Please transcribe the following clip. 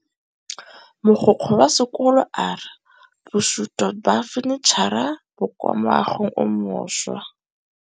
Mogokgo wa sekolo a re bosutô ba fanitšhara bo kwa moagong o mošwa.